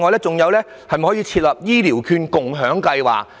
再者，可否設立"醫療券共享計劃"？